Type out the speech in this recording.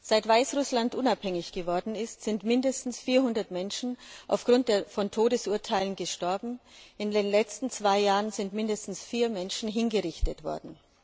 Seit Weißrussland unabhängig geworden ist, sind mindestens 400 Menschen aufgrund von Todesurteilen gestorben, in den letzten zwei Jahren sind mindestens vier Menschen hingerichtet worden.